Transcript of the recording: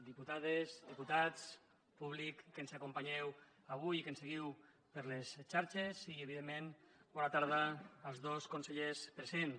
diputades diputats públic que ens acompanyeu avui i que ens seguiu per les xarxes i evidentment bona tarda als dos consellers presents